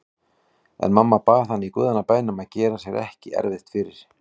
En mamma bað hann í guðanna bænum að gera sér ekki erfitt fyrir.